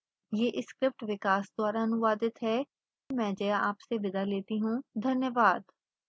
यह स्क्रिप्ट विकास द्वारा अनुवादित है आईआईटी बॉम्बे से में जया आपसे विदा लेती हूँ धन्यवाद